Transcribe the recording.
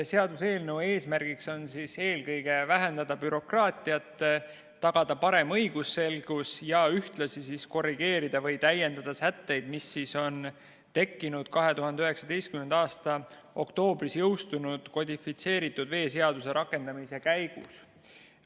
Seaduseelnõu eesmärgiks on eelkõige vähendada bürokraatiat, tagada parem õigusselgus ja ühtlasi korrigeerida või täiendada sätteid, mis siis on tekkinud 2019. aasta oktoobris jõustunud kodifitseeritud veeseaduse rakendamise käigus.